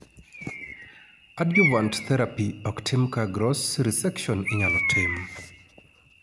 Adjuvant therapy oktim kaa gross resection inyalo tim